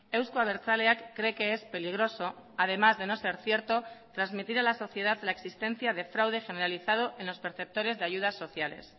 euzko abertzaleak cree que es peligroso además de no ser cierto transmitir a la sociedad la existencia de fraude generalizado en los perceptores de ayudas sociales